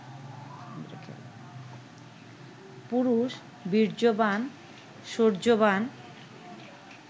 পুরুষ বীর্যবান, শৌর্যবান